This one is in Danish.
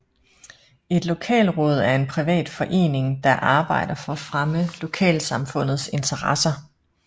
Et lokalråd er en privat forening der arbejder for at fremme lokalsamfundets interesser